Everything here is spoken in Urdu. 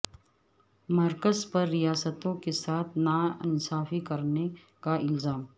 مرکز پر ریاستوں کے ساتھ نا انصافی کرنے کا الزام